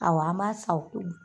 Awɔ an b'a san o kun